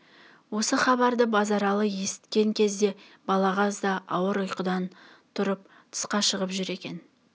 осы хабарды базаралы есіткен кезде балағаз да ауыр ұйқыдан тұрып тысқа шығып жүр екен